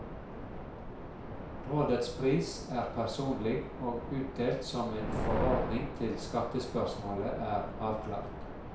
Rådets pris er personlig, og utdelt som en forordning til skattespørsmålet er avklart.